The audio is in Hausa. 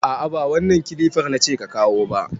A'a ba wannan kilifar nace ka kawo ba.